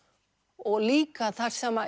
og líka þar sem